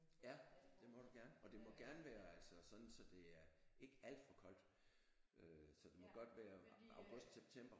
Ja det må du gerne og det må gerne være altså sådan så det er ikke alt for koldt øh så det må godt være august september